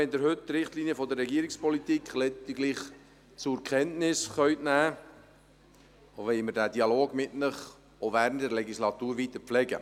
Auch wenn Sie heute die Richtlinien der Regierungspolitik lediglich zur Kenntnis nehmen können, wollen wir diesen Dialog mit Ihnen während der Legislatur weiter pflegen.